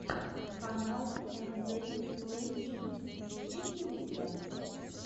канал энзель плейгеймс есть ли у тебя